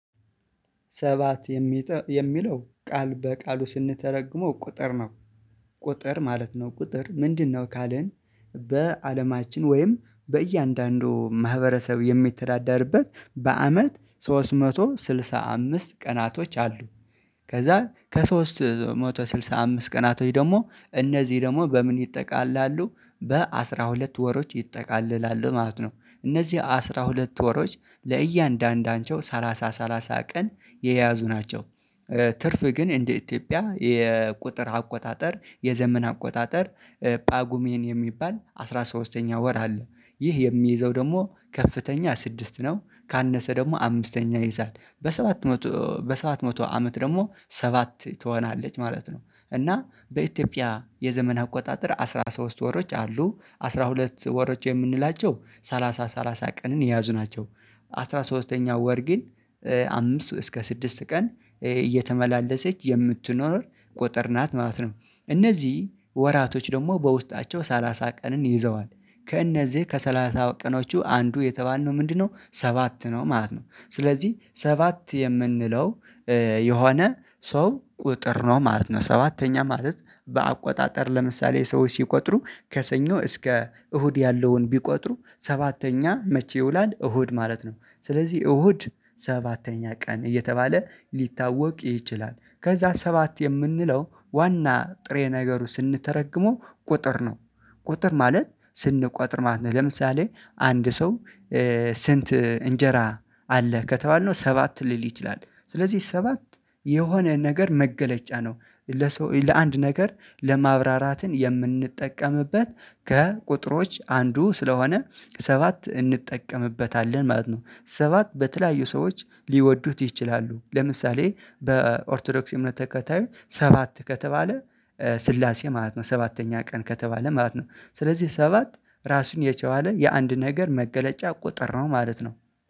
ሰባት የሚለው ቃል በቃሉ ስንተረግመው ቁጥር ነው። ቁጥር ማለት ነው ቁጥር ምንድነው ካልን? በአለማችን ወይም በእያንዳንዱ ማህበረሰብ የምትዳዳርበት በአመት ሶስት መቶ ስድሳ አምስት ቀናቶች አሉ። ከዛ ከሶስት መቶ ስድሳ አምስት ቀናቶች ደግሞ እነዚህ ደግሞ በምን ይጠቃለላሉ? በአሥራ ሁለት ወሮች ይጠቃለላሉ ማለት ነው። እነዚህ አስራ ሁለት ወሮች ለእያንዳንዳቸው ሰላሳ ሰላሳ ቀን የያዙ ናቸው። ትርፍ ግን እንደ ኢትዮጵያ የቁጥር አቆጣጠር የዘመን አቆጣጠር ፓጉሜን የሚባል አስራ ሶስተኛ ወር አለ። ይህ የሚይዘው ደግሞ ከፍተኛ ስድስት ነው ካነሰ ደግሞ አምስተኛ ይይዛል። በ ሰባት መቶ በሰባት መቶ አመት ደግሞ ሰባት ትሆናለች ማለት ነው። እና በኢትዮጵያ የዘመን አቆጣጠር አስራ ሶስት ወሮች አሉ አስራ ሁለት ወሮች የምንላቸው ሰላሳ ሰላሳ ቀንን የያዙ ናቸው። አስራ ሶስተኛው ወር ግን አምስት እስከ ስድስት ቀን እየተመላለሰች የምትኖር ቁጥር ናት ማለት ነው። እነዚህ ወራቶች ደግሞ በውስጣቸው ሰላሳ ቀንን ይዘዋል። ከእነዚህ ከሠላሳ ቀኖቹ አንዱ የተባለው ምንድነው? ሰባት ነው ማለት ነው ስለዚህ ሰባት የምንለው የሆነ ሰው ቁጥር ነው ማለት ነው። ሰባተኛ ማለት በአቆጣጠር ለምሳሌ ሰዎች ሲቆጥሩ ከሰኞ እስከ እሁድ ያለውን ቢቆጥሩ ሰባተኛ መቼ ይውላል? እሁድ ማለት ነው ስለዚህ እሁድ ሰባተኛ ቀን እየተባለ ሊታወቅ ይችላል። ከዛ ሰባት የምንለው ዋና ጥሬ ነገሩ ስንተረግሞ ቁጥር ነው። ቁጥር ማለት ስንቆጥር ማለት ነው። ለምሳሌ አንድ ሰው ስንት እንጀራ አለ ከተባልነው ሰባት ሊል ይችላል። ስለዚህ ሰባት የሆነ ነገር መገለጫ ነው። ለአንድ ነገር ለማብራራትን የምንጠቀምበት ከቁጥሮች አንዱ ስለሆነ ሰባት እንጠቀምበታለን ማለት ነው። ሰባት በተለያዩ ሰዎች ሊወዱት ይችላሉ ለምሳሌ በኦርቶዶክስ እምነት ተከታይ ሰባት ከተባለ ስላሴ ማለት ነው። ሰባተኛ ቀን ከተባለ ማለት ነው። ስለዚህ ሰባት ራሱን የቸዋለ የአንድ ነገር መገለጫ ቁጥር ነው ማለት ነው